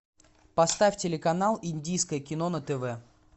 поставь телеканал индийское кино на тв